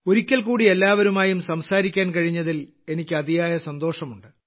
ഒരിക്കൽകൂടി എല്ലാവരുമായും സംസാരിക്കാൻ കഴിഞ്ഞതിൽ എനിക്ക് അതിയായ സന്തോഷമുണ്ട്